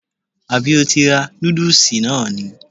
Àbí o ti ra nódùsì náà ni??